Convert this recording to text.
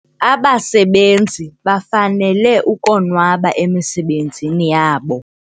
Abasebenzi bafanele ukonwaba emisebenzini yabo.